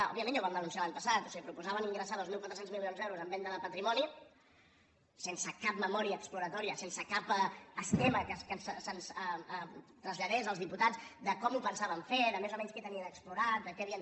òbviament ja ho vam denunciar l’any passat o sigui proposaven ingressar dos mil quatre cents milions d’euros en venda de patrimoni sense cap memòria exploratòria sense cap esquema que se’ns traslladés als diputats de com ho pensaven fer de més o menys què tenien explorat de què havien